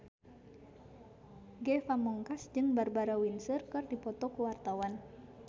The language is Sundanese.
Ge Pamungkas jeung Barbara Windsor keur dipoto ku wartawan